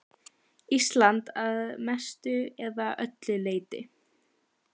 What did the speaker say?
Ísland að mestu eða öllu leyti.